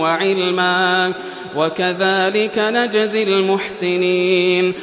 وَعِلْمًا ۚ وَكَذَٰلِكَ نَجْزِي الْمُحْسِنِينَ